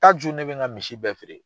jo ne bɛ n ka misi bɛɛ feere